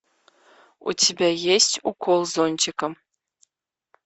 у тебя есть укол зонтиком